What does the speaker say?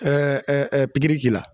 Ɛɛ pigiri k'i la